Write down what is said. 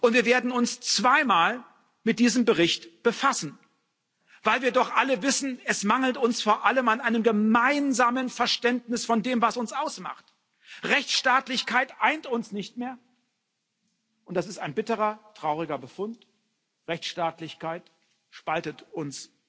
Wir werden uns zwei Mal mit diesem Bericht befassen, weil wir doch alle wissen, es mangelt uns vor allem an einem gemeinsamen Verständnis von dem, was uns ausmacht. Rechtsstaatlichkeit eint uns nicht mehr und das ist ein bitterer, trauriger Befund Rechtsstaatlichkeit spaltet uns.